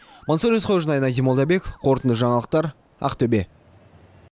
мансұр есқожин айнадин молдабеков қорытынды жаңалықтар ақтөбе